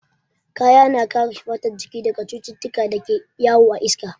Kaya na kare fatar jiki daga cututtukan da ke yawo a iska.